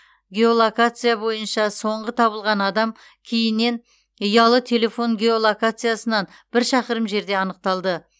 геолокация бойынша соңғы табылған адам кейінен ұялы телефон геолокациясынан бір шақырым жерде анықталды